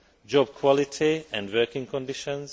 job quality and working conditions